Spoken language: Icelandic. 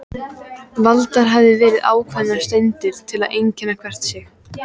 Valdar hafa verið ákveðnar steindir til að einkenna hvert stig.